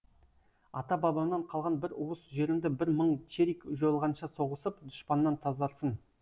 ата бабамнан қалған бір уыс жерімді бір мың черик жойылғанша соғысып дұшпаннан тазартсын